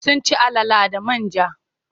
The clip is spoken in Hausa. Sun ci alala da man ja.